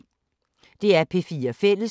DR P4 Fælles